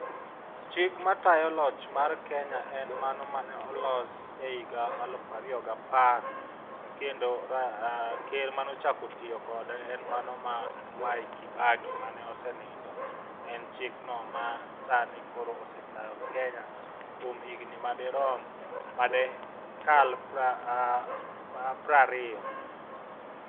Chik matayo loch mar kenya en mano mane olos e higa aluf ariyo gapar, kendo ker manochako tiyo kode en mano ma Mwai kibaki mane osenindo. En chikno ma sani osetayo kenya kuom higni madikal prariyo.